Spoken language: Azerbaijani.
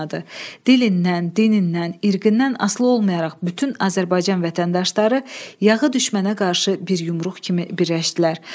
Dilindən, dinindən, irqindən asılı olmayaraq bütün Azərbaycan vətəndaşları yağı düşmənə qarşı bir yumruq kimi birləşdilər.